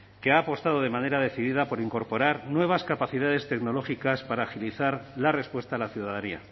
que ha apostado de manera decidida por incorporar nuevas capacidades tecnológicas para agilizar la respuesta a la ciudadanía